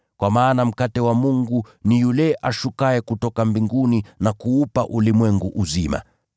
Kwa maana mkate wa Mungu ni yule ashukaye kutoka mbinguni na kuupa ulimwengu uzima.”